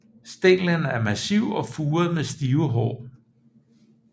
Stænglen er massiv og furet med stive hår